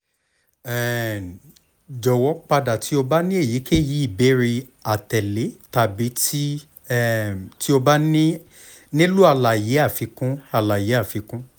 um jọwọ pada ti o ba ni eyikeyi ibeere atẹle tabi ti um o ba nilo alaye afikun alaye afikun